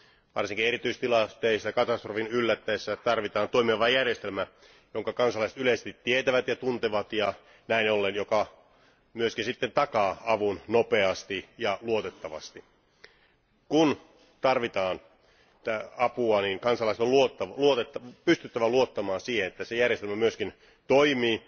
Varsinkin erityistilanteissa, katastrofin yllättäessä tarvitaan toimivaa järjestelmää, jonka kansalaiset yleisesti tietävät ja tuntevat ja näin ollen, joka myöskin sitten takaa avun nopeasti ja luotettavasti. Kun tarvitaan apua, niin kansalaisten on pystyttävä luottamaan siihen, että se järjestelmä myöskin toimii